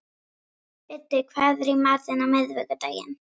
Biddi, hvað er í matinn á miðvikudaginn?